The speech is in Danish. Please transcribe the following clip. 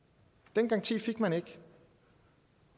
den garanti fik man ikke